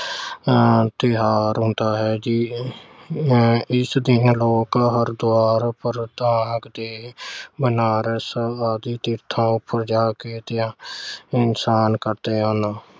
ਅਹ ਤਿਓਹਾਰ ਹੁੰਦਾ ਹੈ। ਇਸ ਦਿਨ ਲੋਕ ਹਰਿਦੁਆਰ ਤੇ ਬਨਾਰਸ ਵਰਗੇ ਤੀਰਥਾਂ ਉੱਪਰ ਜਾ ਕੇ ਇਸ਼ਨਾਨ ਕਰਦੇ ਹਨ।